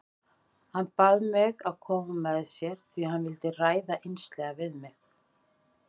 Hann bað mig að koma með sér því hann vildi ræða einslega við mig.